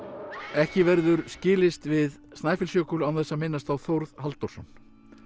ekki verður skilist við Snæfellsjökul án þess að minnast á Þórð Halldórsson